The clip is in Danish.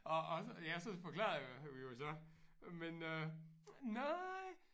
Og og jeg så forklarede jeg jo så men øh nej